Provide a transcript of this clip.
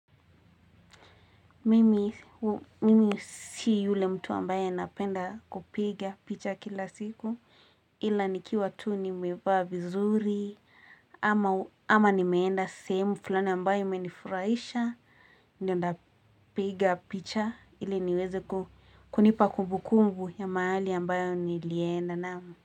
Mimi si mtu yule ambaye napenda kupiga picha kila siku ila nikiwa tu nimevaa vizuri ama nimeenda semu fulani ambayo imenifuraisha ninapiga picha ili niweze kunipa kumbu kumbu ya mahali ambayo nilienda naam.